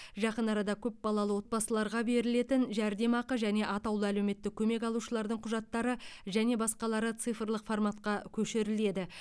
жақын арада көпбалалы отбасыларға берілетін жәрдемақы және атаулы әлеуметтік көмек алушылардың құжаттары және басқалары цифрлық форматқа көшіріледі